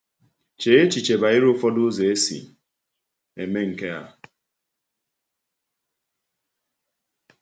Chee echiche banyere ụfọdụ ụzọ e si eme nke a.